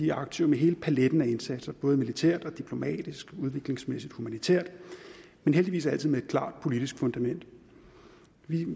er aktive med hele paletten af indsatser både militært diplomatisk udviklingsmæssigt og humanitært men heldigvis altid med et klart politisk fundament vi